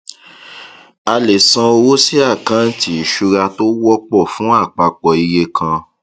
a lè san owó sí àkántì ìṣura tó wọpọ fún àpapọ iye kàn